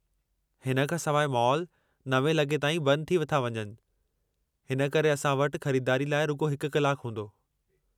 हिन खां सवाइ, मॉल 9:00 लॻे ताईं बंदि थी था वञनि हिन करे असां वटि ख़रीदारीअ लाइ रुॻो हिकु कलाकु हूंदो।